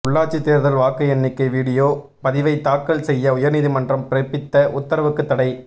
உள்ளாட்சி தோ்தல் வாக்கு எண்ணிக்கை விடியோ பதிவை தாக்கல் செய்ய உயா்நீதிமன்றம் பிறப்பித்த உத்தரவுக்குத் தடை